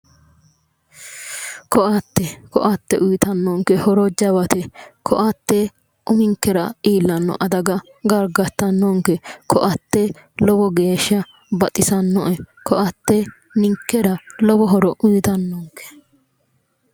Koatte, koatte uyitannonke horo jawate. Koatte uminkera iillanno adaga gargartannonke. Koatte lowo geeshsha baxisannoe. Koatte ninkera lowo horo uytannonke.